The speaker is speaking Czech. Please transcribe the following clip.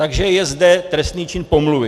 Takže je zde trestný čin pomluvy.